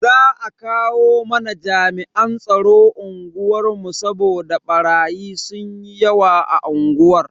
Za a kawo mana jami'an tsaro unguwar mu saboda barayi sunyi yawa a unguwar.